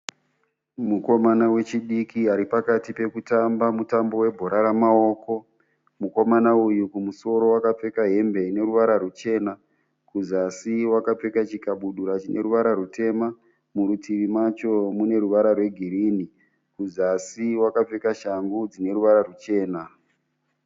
Mukomana wechidiki ari pakati pekutamba mutambo webhora remaoko. Mukomana uyu kumusoro wakapfeka hembe ine ruvara rwuchena. Kuzasi wakapfeka chikabudura chine ruvara rwuchitema. Murutivi macho mune ruvara rwegirinhi. Kuzasi wakapfeka shangu dzine ruvara rwuchena.